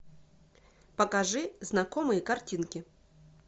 покажи знакомые картинки